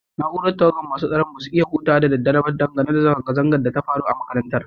Naúrar tawagan masun tsaron ba su iya huta da dare ba dan zanga-zangan da ya faru a'makarantan.